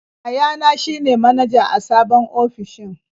Yayana shi ne manaja a sabon ofishin.